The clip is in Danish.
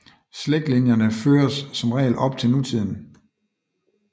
Slægtslinjerne føres som regel op til nutiden